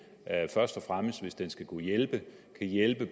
først og fremmest hvis den skal kunne hjælpe kan hjælpe